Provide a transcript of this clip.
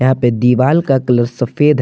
हां पे दिवाल का कलर सफेद है।